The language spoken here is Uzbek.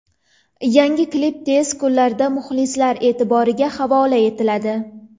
Yangi klip tez kunlarda muxlislar e’tiboriga havola etiladi.